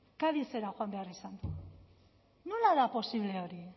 cadizera joan behar izan du nola da posible hori